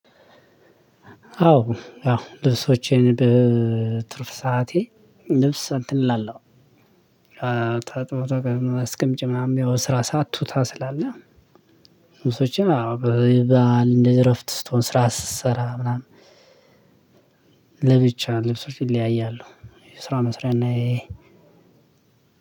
አዎ ያው ልብሶቼን በትርፍ ሰዓቴ ልብስ እንትን እላለሁ። አስቀምጭ ምናምን ያው ስራ ቱታ ስላለ ልብሶችን አዎ እንደዚህ እረፍት ስትሆን ስራ ስትሰራ ምናምን ለብቻ ልብሶች ይለያያሉ። ስራ መስሪያ እና ይሄ